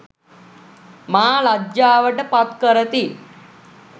මා ලජ්ජාවට පත් කරති.